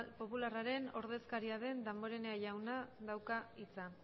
popularraren ordezkaria den damborenea jauna dauka hitza